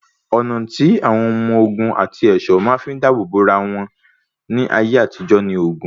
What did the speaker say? Ọ̀nà tí àwọn ọmọ ogun àti ẹ̀ṣọ́ máa ń fi dábò bo ara wọn ní ayé àtijó ni oògùn.